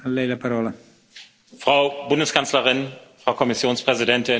Frau Bundeskanzlerin, Frau Kommissionspräsidentin, Herr Parlamentspräsident!